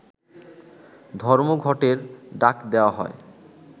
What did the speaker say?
ধর্মঘটের ডাক দেয়া হয়